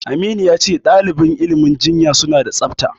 Aminu ya ce ɗaliban ilimin jinya suna da tsafta.